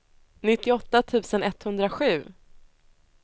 nittioåtta tusen etthundrasju